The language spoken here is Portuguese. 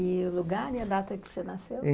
E o lugar e a data que você nasceu?